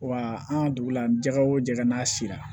Wa an ka dugu la jɛgɛ wo jɛk'a sira la